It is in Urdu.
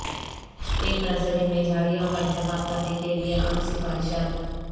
ایک نرسری میں جھاڑیوں کا انتخاب کرنے کے لئے عام سفارشات